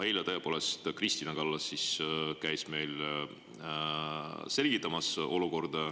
Eile, tõepoolest, käis Kristina Kallas meile olukorda selgitamas.